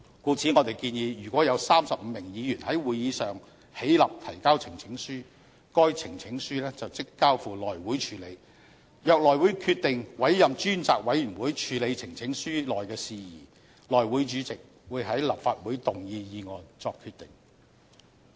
故此，我們建議如果有35名議員在會議上起立提交呈請書，該呈請書即交付內務委員會處理；若內務委員會決定委任專責委員會處理呈請書內事宜，內務委員會主席會在立法會動議議案作決定。